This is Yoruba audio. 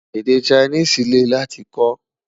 Èdè Chinese lè láti kò